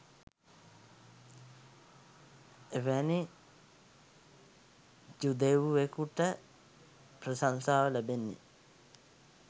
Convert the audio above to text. එවැනි ජුදෙව්වෙකුට ප්‍රශංසාව ලැබෙන්නේ